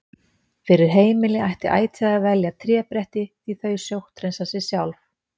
Fyrir heimili ætti ætíð að velja trébretti því þau sótthreinsa sig sjálf.